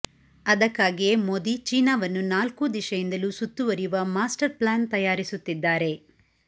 ಅದಕ್ಕಾಗಿಯೆ ಮೋದಿ ಚೀನಾವನ್ನು ನಾಲ್ಕೂ ದಿಶೆಯಿಂದಲೂ ಸುತ್ತುವರಿಯುವ ಮಾಸ್ಟರ್ ಪ್ಲಾನ್ ತಯಾರಿಸುತ್ತಿದ್ದಾರೆ